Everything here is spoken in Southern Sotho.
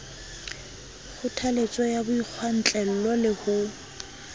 kgothaletso ya boikgwantlello le ho